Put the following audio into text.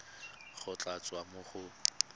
go tla tswa mo go